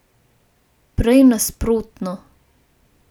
Prej nasprotno.